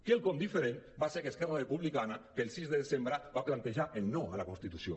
quelcom diferent va ser que esquerra republicana per al sis de desembre va plantejar el no a la constitució